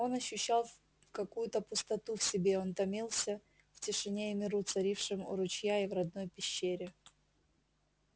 он ощущал какую то пустоту в себе он томился по тишине и миру царившим у ручья и в родной пещере